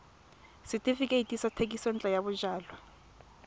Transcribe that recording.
setefikeiti sa thekisontle ya bojalwa